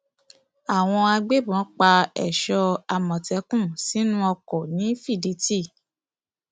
àwọn agbébọn pa èso àmọtẹkùn sínú ọkọ ní fídítì